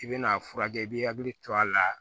I bɛn'a furakɛ i b'i hakili to a la